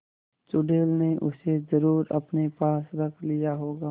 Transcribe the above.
चुड़ैल ने उसे जरुर अपने पास रख लिया होगा